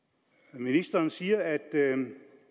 ministeren siger at